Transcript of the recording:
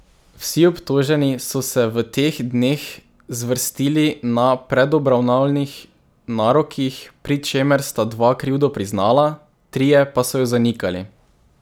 Vsi obtoženi so se v teh dneh zvrstili na predobravnavnih narokih, pri čemer sta dva krivdo priznala, trije pa so jo zanikali.